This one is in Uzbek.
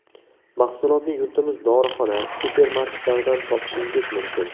Mahsulotni yurtimiz dorixona, supermarketlaridan topishingiz mumkin.